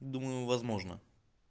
думаю возможно